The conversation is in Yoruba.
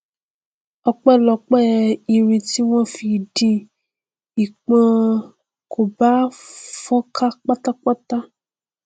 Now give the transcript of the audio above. ọpẹlọpẹ irin tí wọn fi dì í pọ kò bá fọn ká pátápátá ni